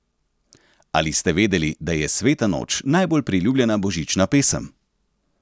Ali ste vedeli, da je Sveta noč najbolj priljubljena božična pesem ?